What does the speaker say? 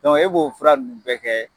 Dɔnku e b'o fura nunnu bɛɛ kɛ